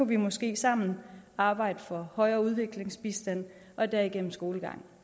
vi måske sammen arbejde for højere udviklingsbistand og derigennem skolegang